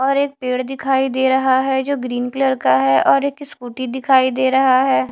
और एक पेड़ दिखाई दे रहा है जो ग्रीन कलर का है और एक स्कूटी दिखाई दे रहा है।